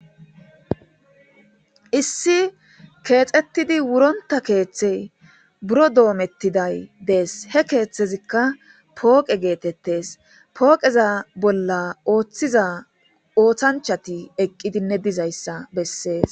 Issi keexettidi wuronta keeththey buro doomettiday dees he keeththezikka pooqe geetettes pooqeza bolla ooththiza oothanchati eqqidinne dizayssa bessees.